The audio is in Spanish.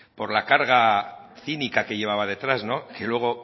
por la carga cínica que llevaba detrás que luego